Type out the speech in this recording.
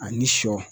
A ni sɔ